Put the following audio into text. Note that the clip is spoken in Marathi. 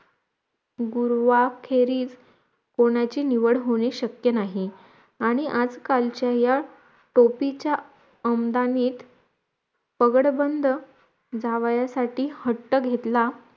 गुरुवाखेरीस कोणाची निवड होणे शक्य नाही आणी आजकालच्या या टोपीच्या आमदानित पगड बंद जावयासाठी हट्ट घेतला